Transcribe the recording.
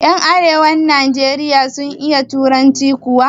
Yan arewacin nijeriya sun iya turanci kuwa?